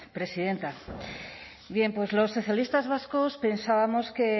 presidenta bien pues los socialistas vascos pensábamos que